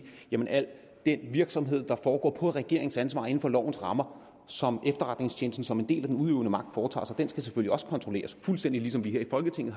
jamen al den virksomhed der foregår på regeringens ansvar inden for lovens rammer og alt som efterretningstjenesten som en del af den udøvende magt foretager sig skal selvfølgelig også kontrolleres fuldstændig ligesom vi her i folketinget